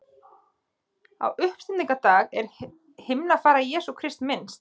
Á uppstigningardag er himnafarar Jesú Krists minnst.